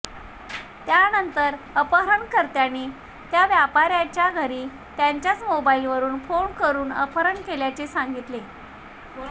त्यानंतर अपहरणकर्त्यांनी त्या व्यापार्याच्या घरी त्याच्याच मोबाईलवरून फोन करून अपहरण केल्याचे सांगितले